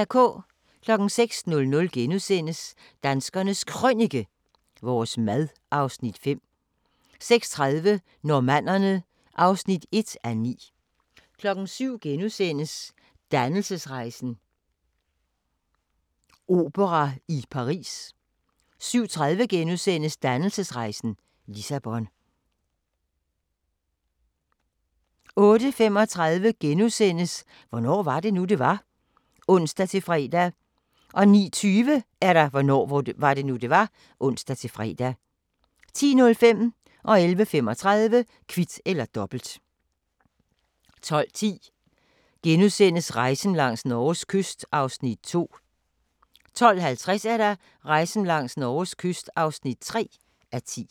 06:00: Danskernes Krønike - vores mad (Afs. 5)* 06:30: Normannerne (1:9) 07:00: Dannelsesrejsen - opera i Paris * 07:30: Dannelsesrejsen – Lissabon * 08:35: Hvornår var det nu, det var? *(ons-fre) 09:20: Hvornår var det nu, det var? (ons-fre) 10:05: Kvit eller Dobbelt 11:35: Kvit eller Dobbelt 12:10: Rejsen langs Norges kyst (2:10)* 12:50: Rejsen langs Norges kyst (3:10)